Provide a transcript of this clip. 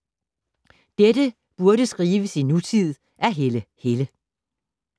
Dette burde skrives i nutid af Helle Helle